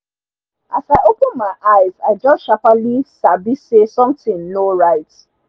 as i open my eyes i just sharperly sabi say sontin nor right